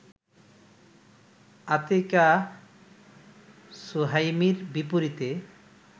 আতিকাহ সুহাইমির বিপরীতে